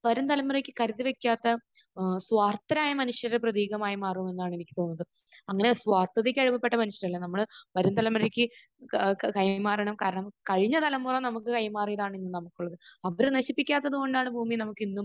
വരും തലമുറക്ക് കരുതി വെക്കാത്ത ഏഹ് സ്വാർത്ഥരായ മനുഷ്യരുടെ പ്രതീകമായി മാറുന്നു എന്നാണ് എനിക്ക് തോന്നുന്നത്. അങ്ങനെ സ്വാർത്ഥതക്ക് അടിമപ്പെട്ട മനുഷ്യരല്ല. നമ്മൾ വരും തലമുറക്ക് ക...കൈമാറണം കഴിഞ്ഞ തലമുറ നമുക്ക് കൈമാറിയതാണെന്നും നമുക്ക് അവർ നശിപ്പിക്കാത്തത് കൊണ്ടാണ് ഭൂമിയിൽ നമുക്ക് ഇന്നും